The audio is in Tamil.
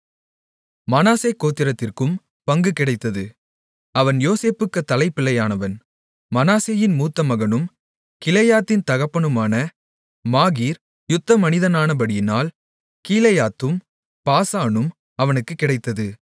மனாசே கோத்திரத்திற்கும் பங்கு கிடைத்தது அவன் யோசேப்புக்குத் தலைப்பிள்ளையானவன் மனாசேயின் மூத்தமகனும் கிலெயாத்தின் தகப்பனுமான மாகீர் யுத்தமனிதனானபடியினால் கீலேயாத்தும் பாசானும் அவனுக்குக் கிடைத்தது